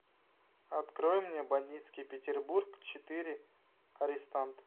открой мне бандитский петербург четыре арестант